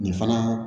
Nin fana